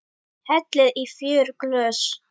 Hellið í fjögur glös.